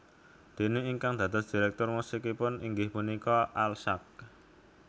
Déné ingkang dados direktur musikipun inggih punika Al Sack